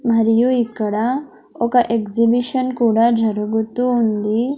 మరియు ఇక్కడ ఒక ఎగ్జిబిషన్ కూడా జరుగుతూ ఉంది.